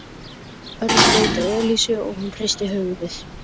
Örn leit á Elísu og hún hristi höfuðið.